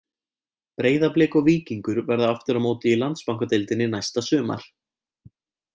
Breiðablik og Víkingur verða aftur á móti í Landsbankadeildinni næsta sumar.